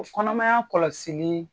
O kɔnɔmaya kɔlɔsili